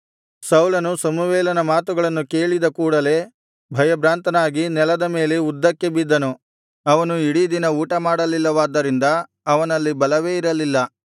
ಸೌಲನು ಸಮುವೇಲನ ಮಾತುಗಳನ್ನು ಕೇಳಿದ ಕೂಡಲೇ ಭಯಭ್ರಾಂತನಾಗಿ ನೆಲದ ಮೇಲೆ ಉದ್ದಕ್ಕೆ ಬಿದ್ದನು ಅವನು ಇಡೀ ದಿನ ಊಟಮಾಡಲಿಲ್ಲವಾದ್ದರಿಂದ ಅವನಲ್ಲಿ ಬಲವೇ ಇರಲಿಲ್ಲ